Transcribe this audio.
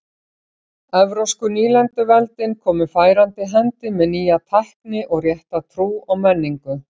Evrópsku nýlenduveldin komu færandi hendi með nýja tækni og rétta trú og menningu.